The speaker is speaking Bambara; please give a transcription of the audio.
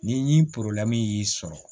Ni y'i sɔrɔ